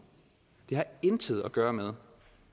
det har intet at gøre med